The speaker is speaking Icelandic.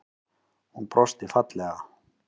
Hún brosti fallega.